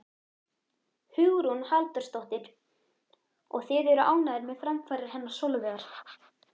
Hugrún Halldórsdóttir: Og þið eruð ánægðir með framfarir hennar Sólveigar?